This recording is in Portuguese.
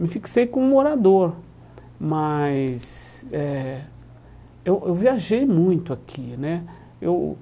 Me fixei como morador, mas... eh eu eu viajei muito aqui, né? Eu